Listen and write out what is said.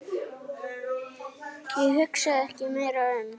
Ég hugsaði ekki meira um